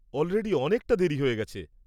Already অনেকটা দেরী হয়ে গেছে।